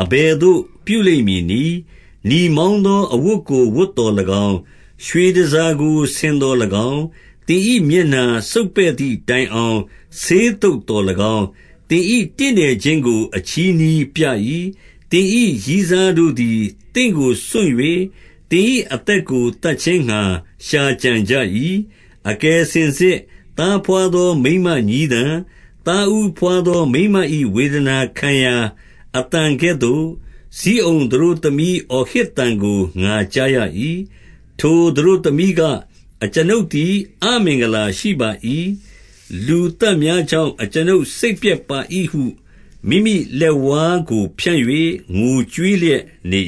အဘယ်သို့ပြုလိမ့်မည်နည်း။ နီမောင်းသော အဝတ်ကို ဝတ်သော်၎င်း၊ ရွှေတန်ဆာကို ဆင်သော်၎င်း၊ သင်၏ မျက်နှာစုတ်ပဲ့သည်တိုင်အောင် ဆေးသုတ်သော်၎င်း၊ သင်၏တင့်တယ်ခြင်းကို အချည်းနှီးပြ၏။ သင်၏ ရည်းစားတို့သည် သင့်ကိုစွန့်၍၊ သင်၏အသက်ကို သတ်ခြင်းငှါ ရှာကြံကြ၏။ 31 အကယ်စင်စစ် သားဘွားသော မိန်းမညည်းသံ၊ သားဦးဘွားသော မိန်းမ၏ဝေဒနာခံရာ အသံကဲ့သို့၊ ဇိအုန်သတို့သမီး အော်ဟစ်သံကို ငါကြားရ၏။ ထိုသတို့ သမီးက၊ အကျွန်ုပ်သည် အမင်္ဂလာရှိပါ၏။ လူသတ် များကြောင့်၊ အကျွန်ုပ်စိတ်ပျက်ပါ၏ဟု မိမိလက်ဝါးကို ဖြန့်၍ ငိုကြွေးလျက်နေ